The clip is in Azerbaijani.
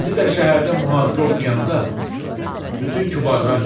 İndi də şəhərdə muhacirə oxuyanda bütün kübarlar yığışır.